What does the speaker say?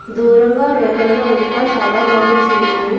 దూరంగా రేకులలో ఇంకా చాలా బాటిల్స్ ఉన్నాయి.